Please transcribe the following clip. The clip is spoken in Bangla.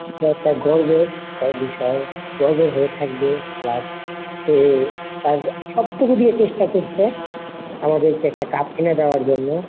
গর্বের বিষয়ে গর্বের হয়ে থাকবে last সে তার সবটুকু দিয়ে চেষ্টা করসে আমাদেরকে একটা cup এনে দেওয়ার জন্য।